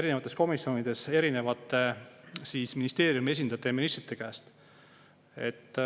erinevates komisjonides erinevate ministeeriumi esindajate ja ministrite käest.